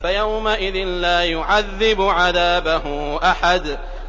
فَيَوْمَئِذٍ لَّا يُعَذِّبُ عَذَابَهُ أَحَدٌ